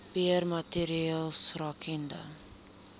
beheer maatreëls rakende